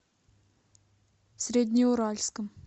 среднеуральском